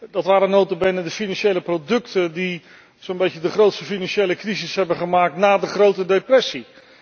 Dat waren nota bene de financiële producten die zo'n beetje de grootste financiële crisis hebben veroorzaakt na de grote depressie.